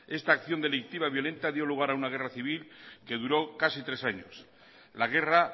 esta acción delictiva y violenta dio lugar a una guerra civil que duró casi tres años la guerra